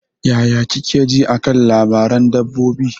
Yaya kike ji a kan labaran dabbobi?